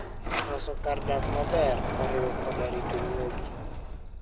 Loso kar dak maber oriwo koda rito nyuogi.